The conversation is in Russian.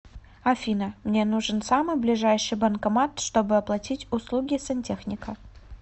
афина мне нужен самый ближайший банкомат чтобы оплатить услуги сантехника